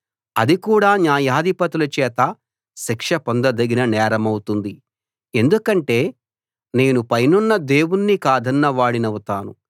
అది కూడా న్యాయాధిపతుల చేత శిక్ష పొందదగిన నేరమౌతుంది ఎందుకంటే నేను పైనున్న దేవుణ్ణి కాదన్న వాడినౌతాను